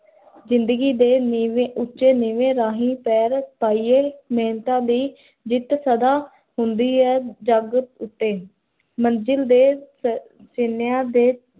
ਜ਼ਿੰਦਗੀ ਦੇ ਨੀਵੇ, ਉਚੇ ਨੀਵੇਂ, ਰਾਹੀਂ ਪੈਰ ਪਾਈਏ ਮਹਿੰਤਾਂ ਦੀ ਜਿਤ ਸਦਾ ਹੁੰਦੀ ਹੈ, ਜਗ ਉਤੇ ਮੰਜ਼ਿਲ ਦੇ